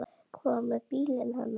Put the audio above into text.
Hvað með bílinn hennar?